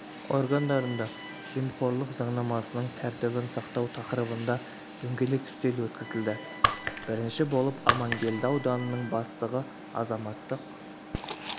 органдарында жемқорлық заңнамасының тәртібін сақтау тақырыбында дөңгелек үстел өткізілді бірінші болып амангелді ауданының бастығы азаматтық